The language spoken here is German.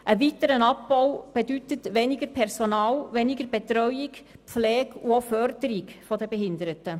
Ein weiterer Abbau bedeutet weniger Personal, weniger Betreuung, weniger Pflege und auch weniger Förderung der Behinderten.